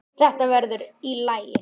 Þetta verður í lagi.